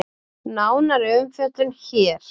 Nánari umfjöllun hér